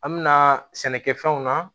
An mɛna sɛnɛkɛfɛnw na